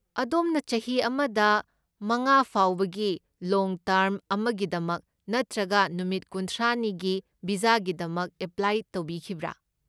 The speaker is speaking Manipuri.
ꯑꯗꯣꯝꯅ ꯆꯍꯤ ꯑꯃꯗꯒꯤ ꯃꯉꯥ ꯐꯥꯎꯕꯒꯤ ꯂꯣꯡ ꯇꯔꯝ ꯑꯃꯒꯤꯗꯃꯛ ꯅꯠꯇ꯭ꯔꯒ ꯅꯨꯃꯤꯠ ꯀꯨꯟꯊ꯭ꯔꯥꯅꯤꯒꯤ ꯚꯤꯖꯥꯒꯤꯗꯃꯛ ꯑꯦꯄ꯭ꯂꯥꯏ ꯇꯧꯕꯤꯈꯤꯕ꯭ꯔꯥ?